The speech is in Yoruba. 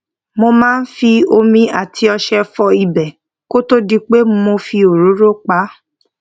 mo máa ń fi omi àti ọṣẹ fọ ibè kó tó di pé mo fi òróró pa á